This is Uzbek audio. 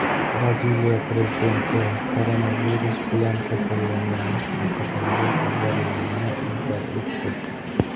Braziliya prezidenti koronavirus bilan kasallangani haqidagi xabarlarni inkor etdi.